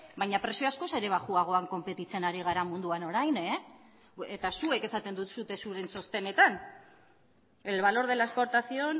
baina prezioa askoz ere baxuagoan konpetitzen ari gara munduan orain eta zuek esaten duzue zuen txostenetan el valor de la exportación